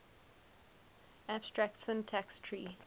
abstract syntax tree